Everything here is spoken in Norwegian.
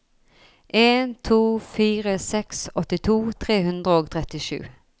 en to fire seks åttito tre hundre og trettisju